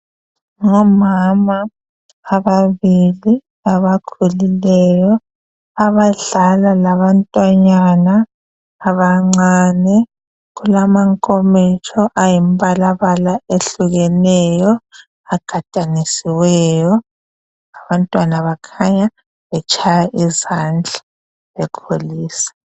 Ngomama ababili abakhulileyo abadlala labantwanyana abancane kulamankomitsho ayimbala bala ehlukeneyo agadanisiweyo abantwana bakhanya betshaya izandla bekholisa.